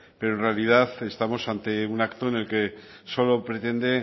pero en realidad estamos ante un acto en el que solo pretende